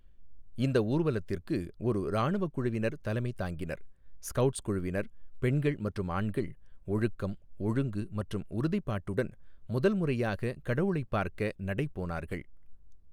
இந்த ஊர்வலத்திற்கு ஒரு இராணுவ குழுவினர் தலைமை தாங்கினர், ஸ்கவுட்ஸ் குழுவினர், பெண்கள் மற்றும் ஆண்கள் ஒழுக்கம், ஒழுங்கு மற்றும் உறுதிப்பாட்டுடன் முதல் முறையாக கடவுளைப் பார்க்க நடைபோனார்கள்.